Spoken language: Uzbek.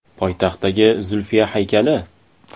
Poytaxtdagi Zulfiya haykali.